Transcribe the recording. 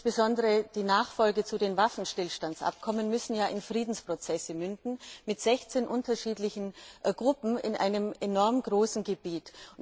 Insbesondere die Nachfolge zu den Waffenstillstandsabkommen ist schwierig, die ja in Friedensprozesse münden müssen, mit 16 unterschiedlichen Gruppen in einem enorm großen Gebiet.